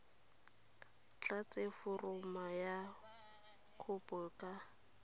tlatse foromo ya kopo ka